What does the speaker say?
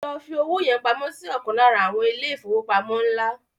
Lọ fi owó yẹn pamọ́ si ọ̀kan lára àwọn ilé ìfowópamọ́ ńlá